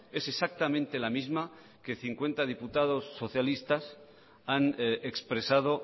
es exactamente la misma que cincuenta diputados socialistas han expresado